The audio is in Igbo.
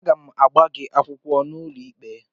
Aga m agba gị akwụkwọ n'ụlọikpe